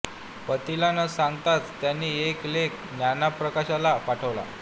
पतीला न सांगताच त्यांनी एक लेख ज्ञानप्रकाशला पाठवलला